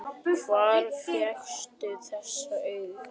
Hvar fékkstu þessi augu?